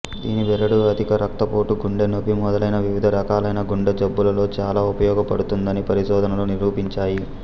దీని బెరడు అధిక రక్తపోటు గుండె నొప్పి మొదలైన వివిధ రకాలైన గుండె జబ్బులలో చాలా ఉపయోగపడుతుందని పరిశోధనలు నిరూపించాయి